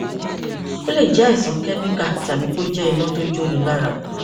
ó lè jẹ àìsàn kẹmíkà tàbí kó jẹ iná tó jóni lára